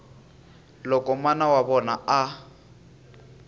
loko mana wa vona a